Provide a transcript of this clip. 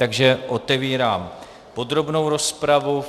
Takže otevírám podrobnou rozpravu.